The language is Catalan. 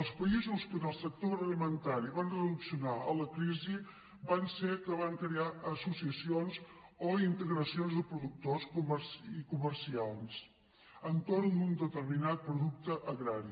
els països que en el sector agroalimentari van reaccionar a la crisi van ser els que van crear associacions o integracions de productors i comerciants entorn d’un determinat producte agrari